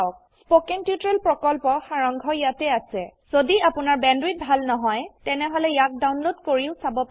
spoken tutorial প্ৰকল্পৰ সাৰাংশ ইয়াত আছে যদি আপোনাৰ বেণ্ডৱিডথ ভাল নহয় তেনেহলে ইয়াক ডাউনলোড কৰি চাব পাৰে